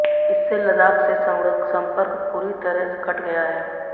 इससे लद्दाख से सड़क संपर्क पूरी तरह कट गया है